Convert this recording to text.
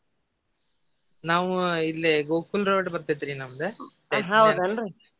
ನಾವ್ ಇಲ್ಲಿ ಗೋಕುಲ್ road ಬರ್ತೈತ್ರಿ ನಮ್ದ .